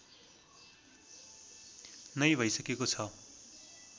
नै भइसकेको छ